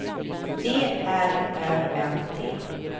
D R Ö M T